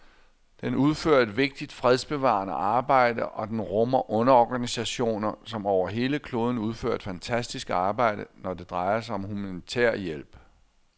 Den udfører et vigtigt fredsbevarende arbejde, og den rummer underorganisationer, som over hele kloden udfører et fantastisk arbejde, når det drejer sig om humanitær hjælp.